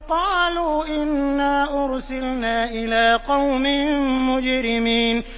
قَالُوا إِنَّا أُرْسِلْنَا إِلَىٰ قَوْمٍ مُّجْرِمِينَ